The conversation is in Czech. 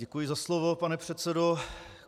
Děkuji za slovo, pane předsedo.